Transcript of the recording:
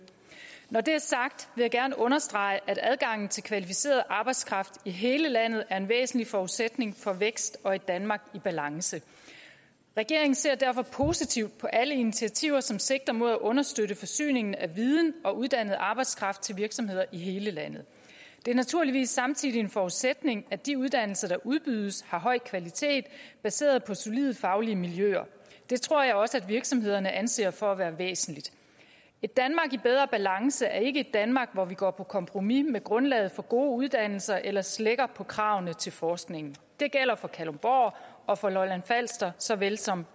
når det er sagt vil jeg gerne understrege at adgangen til kvalificeret arbejdskraft i hele landet er en væsentlig forudsætning for vækst og et danmark i balance regeringen ser derfor positivt på alle initiativer som sigter mod at understøtte forsyningen af viden og uddannet arbejdskraft til virksomheder i hele landet det er naturligvis samtidig en forudsætning at de uddannelser der udbydes har høj kvalitet baseret på solide faglige miljøer det tror jeg også virksomhederne anser for at være væsentligt et danmark i bedre balance er ikke et danmark hvor vi går på kompromis med grundlaget for gode uddannelser eller slækker på kravene til forskningen det gælder for kalundborg og for lolland falster såvel som